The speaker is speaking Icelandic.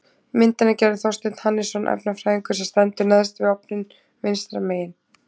Myndina gerði Þorsteinn Hannesson efnafræðingur sem stendur neðst við ofninn vinstra megin.